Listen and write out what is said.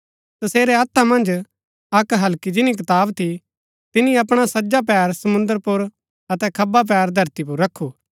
तसेरै हत्था मन्ज अक्क हल्की जिनी कताब थी तिनी अपणा सज्जा पैर समुंद्र पुर अतै खब्बा पैर धरती पुर रखू